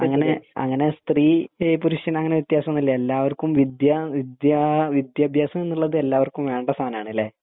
അങ്ങിനെ അങ്ങിനെ സ്ത്രീ പുരുഷൻ അങ്ങിനെ വിത്യാസം ഒന്നും ഇല്ല എല്ലാവർക്കും വിദ്യ വിദ്യാ വിദ്യഭ്യാസം എന്നുള്ളത് എല്ലാവർക്കും വേണ്ട സാനാണ് അല്ലെ